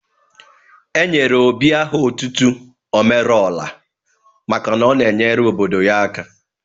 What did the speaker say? E nyere Obi aha otutu 'Omeluora maka na ọ na-enyere obodo ya aka.